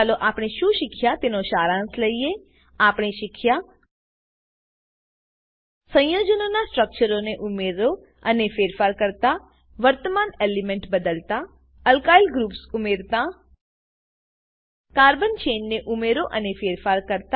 ચાલો આપણે શું શીખ્યા તેનો સારાંશ લઈએ આપણે શીખ્યા સંયોજનો ના સ્ટ્રક્ચરને ઉમેરો અને ફેરફાર કરતા વર્તમાન એલિમેન્ટ બદલાતા એલ્કાઇલ ગ્રુપ્સ ઉમેરતા કાર્બન ચેઇન ને ઉમેરો અને ફેરફાર કરતા